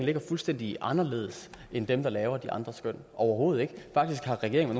ligger fuldstændig anderledes end dem der laver de andre skøn overhovedet ikke faktisk har regeringen